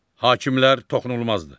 Hakimlər toxunulmazdır.